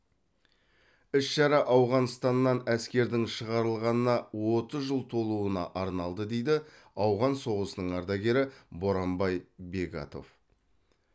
іс шара ауғанстаннан әскердің шығарылғанына отыз жыл толуына арналды дейді ауған соғысының ардагері боранбай бегатов